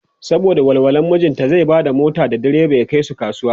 saboda walwala mijinta zai Bada mota da diriba ya Kai su kasuwa.